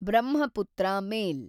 Brahmaputra ಮೇಲ್